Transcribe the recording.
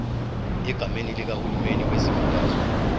egameni likahulumeni wesifundazwe